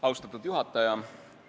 Austatud istungi juhataja!